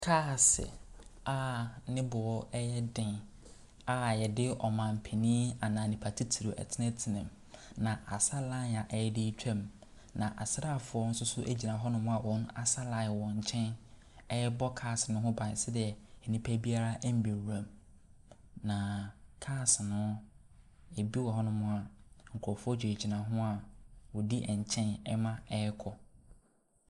Kaase a ne boɔ yɛ den a wɔde ɔmanpanin anaa nipa titire tenatenam, na asa line a ɛde retwam, na asraafoɔ nso so gyina hɔnom a wɔasa line wɔ nkyɛn rebɔ cars no ho ba sedeɛ nnipa biara mmɛwuram. Na cars no, ebi wɔ hɔnom a, nkurɔfoɔ gyinagyina ho a wɔdi nkyɛn ma ɛrekɔ.